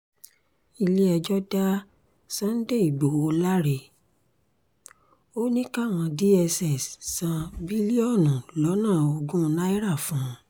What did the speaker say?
ilé-ẹjọ́ dá sunday igbodò láre ó ní káwọn dss san bílíọ̀nù lọ́nà ogún náírà fún un